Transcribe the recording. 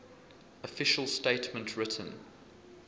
official statement written